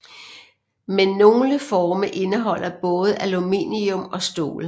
Men nogle forme indeholder både aluminium og stål